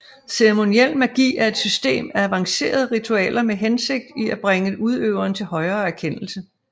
Ceremoniel magi er et system af avanceret ritualer med hensigt i at bringe udøveren til højere erkendelse